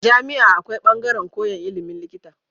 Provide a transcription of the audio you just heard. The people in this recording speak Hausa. A jami'a akwai bangaran koyan ilimin likita